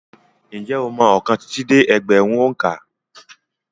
Ǹjẹ́ ó mọ ọkàn títí dé ẹgbẹ̀rún òǹkà.